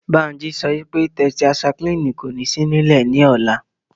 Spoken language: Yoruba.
Bánjí sọ pé tẹtaisaiklínì kò ní sí nílẹ̀ ní ọ̀la